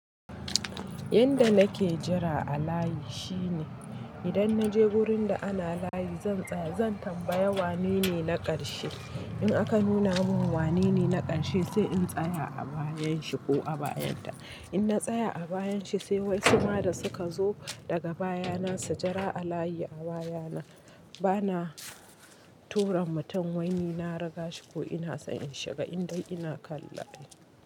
Yanda nake jira a layi shine idan naje wurin da ana layi zan tsaya, zan tambaya wane ne na ƙarshe. In aka nuna min wane ne na ƙarshe sai in tsaya a bayan shi ko a bayanta. In na tsaya a bayan shi sai wasu ma da suka zo daga baya na su jira a layi a baya na. Bana tura mutum wai ni na rigashi ko ina in shiga indai ina kalla.